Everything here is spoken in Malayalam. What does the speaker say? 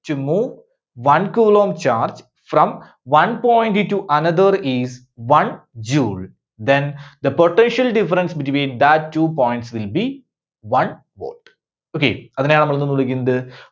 to move one coulomb charge from one point to another is one joule, then the potential difference between that two points will be one volt. okay. അതിനെയാണ് നമ്മൾ എന്ത് വിളിക്കുന്നത്,